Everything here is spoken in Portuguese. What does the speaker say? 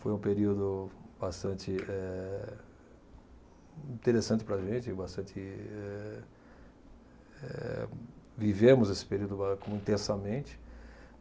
Foi um período bastante eh, interessante para a gente, bastante. Eh Eh vivemos esse período intensamente.